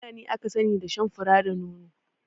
Fulani aka sani da shan fura da nono